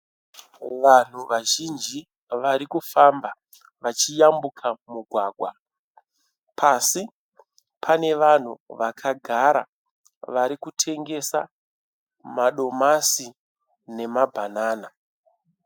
Vanhu vazhinji varikufamba vachiyambuka mugwagwa, pasi pane vanhu vakagara varikutengesa madomasi nemabhanana.